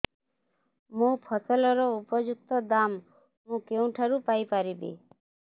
ମୋ ଫସଲର ଉପଯୁକ୍ତ ଦାମ୍ ମୁଁ କେଉଁଠାରୁ ପାଇ ପାରିବି